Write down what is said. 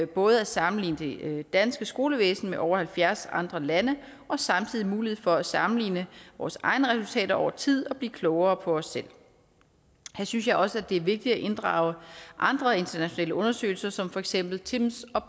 både at sammenligne det danske skolevæsen med over halvfjerds andre lande og samtidig mulighed for at sammenligne vores egne resultater over tid og blive klogere på os selv her synes jeg også det er vigtigt at inddrage andre internationale undersøgelser som for eksempel timms